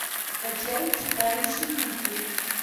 скачай читающий мысли